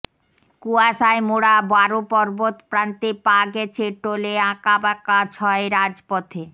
কুয়াশায় মোড়া বারো পর্বতপ্রান্তে পা গেছে টলেআঁকাবাঁকা ছয় রাজপথে